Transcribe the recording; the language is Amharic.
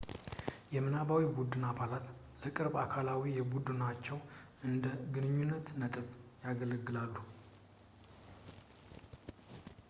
የምናባዊ ቡድን አባላት ለቅርብ አካላዊ ቡድናቸው እንደ ግንኙነት ነጥብ ያገለግላሉ